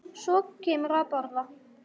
Og svo kemurðu að borða!